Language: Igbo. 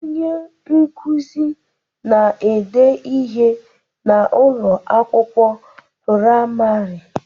Onye nkuzi na-ede ihe n'Ụlọ akwụkwọ praịmarị